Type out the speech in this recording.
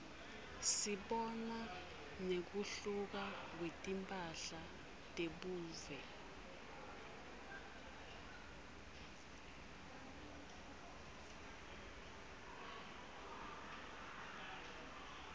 sibona nekuhluka kwetimphahla tebuve